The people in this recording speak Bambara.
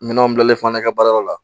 Minɛnw bilalen fana ka baara yɔrɔ la